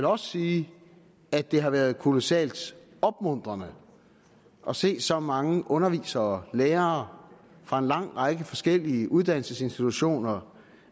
også sige at det har været kolossalt opmuntrende at se så mange undervisere lærere fra en lang række forskellige uddannelsesinstitutioner